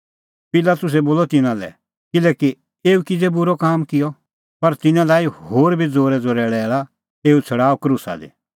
पिलातुसै बोलअ तिन्नां लै किल्है एऊ किज़ै बूरअ काम किअ पर तिन्नैं लाई होर भी ज़ोरैज़ोरै लैल़ा एऊ छ़ड़ाऊआ क्रूसा दी